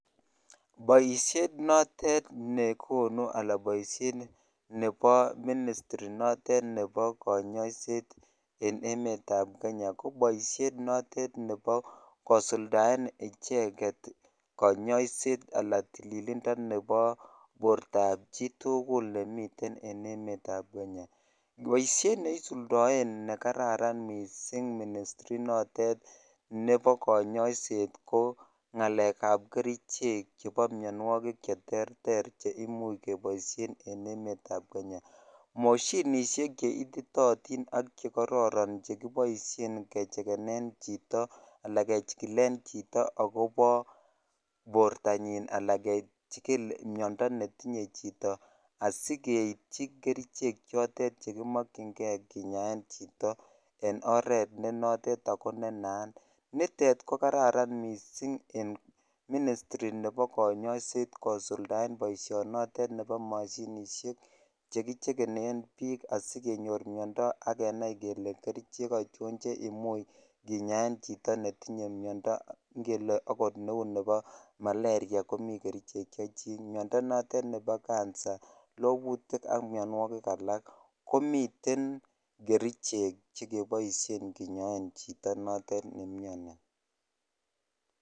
Boisiet notet nekonu anan boisiet nebo ministri inotet nebo kanyaiset en emetab Kenya, ko boisiet notet nebo kusuldaen icheget konyoiset anan tililindo nebo bortab chitugul nemiten en emetab Kenya. Boisiet ne isuldaen nekararan mising ministri inotet nebo kanyoiset ko ngalekab kerichek chebo mianwogik cheterter che imuch keboisien en emetab Kenya. Moshinisiek che ititootin ak chekororon chekiboisien kechekenen chito anan kechikilen chito agobo bortanyin anan kechikil miondo netinye chito asikeipchi kerichek chotet chekimakyinge kinyaen chito en oret ne notet ago ne naat. Nitet ko kararan mising en ministri nebo kanyaiset kosuldaen boisionotet nebo mashinisiek chekichekenen biik asikonyor miondo ak kenai kele kerichek achon che imuch kinyaen chito netinye miondo ngele oot neu nebo malaria komi kerichek chechik. Miondo notet nebo kansa, lobutik ak mianwogik alak komiten kerichek chekeboisien kenyaen chito notet nemiani.